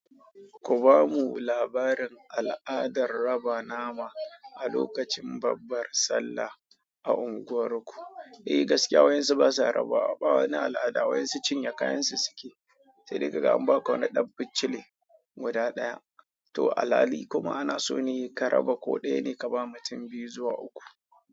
Ku ba mu labarin al'adar raba nama a lokacin babbar Sallah a unguwar ku. Eh, gaskiya waƴansu su basa raba, a ɓawani al'ada waƴansu cinye kayan su suke. Sai dai kaga an ba ka wani ɗan bincile guda ɗaya to al hali kuma ana so ne ka raba ko ɗaya ne ka ba mutum biyu zuwa uku.